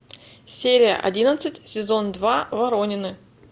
серия одиннадцать сезон два воронины